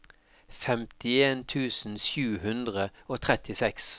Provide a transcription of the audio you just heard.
femtien tusen sju hundre og trettiseks